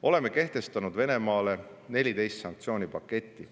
Oleme kehtestanud Venemaale 14 sanktsioonipaketti.